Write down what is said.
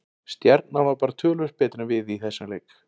Stjarnan var bara töluvert betri en við í þessum leik.